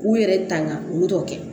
U yɛrɛ tanga olu ka kɛ